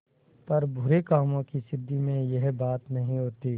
पर बुरे कामों की सिद्धि में यह बात नहीं होती